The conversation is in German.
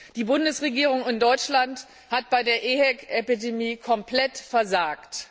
Die Bundesregierung in Deutschland hat bei der EHEC Epidemie komplett versagt.